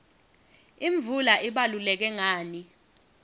imvula ibaluleke ngani